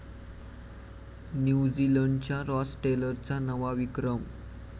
न्यूझीलंडच्या रॉस टेलरचा नवा विक्रम